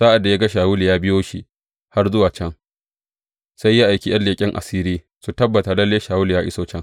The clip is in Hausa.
Sa’ad da ya ga Shawulu ya biyo shi har zuwa can, sai ya aiki ’yan leƙen asiri su tabbata lalle Shawulu ya iso can.